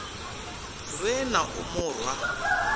lwe na u mu rwa